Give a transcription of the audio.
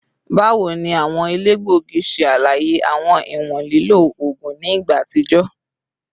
Bawo ni awọn elegbogi ṣe alaye awọn iwọn lilo oogun ni igba atijọ?